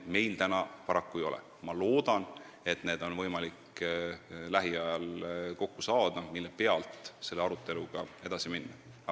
Ma loodan, et on võimalik lähiajal kokku saada need andmed, mille pealt saab aruteluga edasi minna.